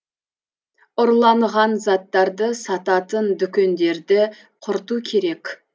ұрланған заттарды сататын дүкендерді құрту керек